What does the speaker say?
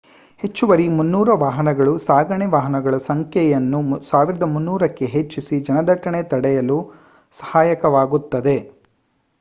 ಹೆಚ್ಚುವರಿ 300 ವಾಹನಗಳು ಸಾಗಣೆ ವಾಹನಗಳ ಸಂಖ್ಯೆಯನ್ನು 1,300 ಕ್ಕೆ ಹೆಚ್ಚಿಸಿ ಜನದಟ್ಟಣೆ ತಡೆಯಲು ಸಹಾಯಕವಾಗುತ್ತದೆ